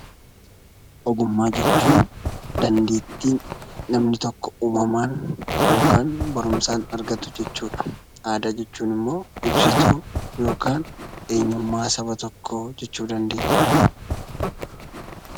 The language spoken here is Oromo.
Ogummaa jechuun dandeetti namni tokko uumamaan yookaan baruumsan argatuu jechuudha. Aadaa jechuun immoo ibsuu yookaan ammoo eenyuummaa saba tokko jechuu dandeenya.